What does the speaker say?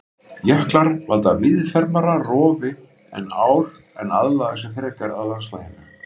Jöklar valda víðfeðmara rofi en ár en aðlaga sig frekar landslaginu.